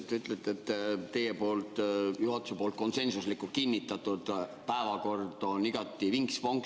Te ütlete, et teie ehk juhatuse konsensuslikult kinnitatud päevakord on igati vinks-vonks.